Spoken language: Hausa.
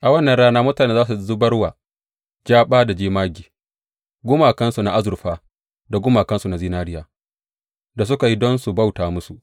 A wannan rana mutane za su zubar wa jaba da jamage gumakansu na azurfa da gumakansu na zinariya da suka yi don su bauta musu.